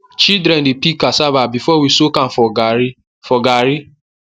children dey peel cassava before we soak am for garri for garri